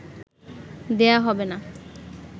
দেয়া হবে না